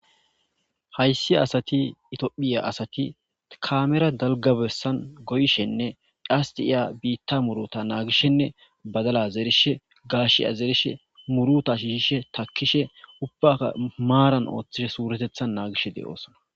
Haysi asati itophiya asati kamera besan goyshenne qase bita muruta nagishenne bita muruta nagishe badala zerishe,gashiya zerishe muruta shishishenne takishe ubakka maran oithishe wuretetan nagishe dosona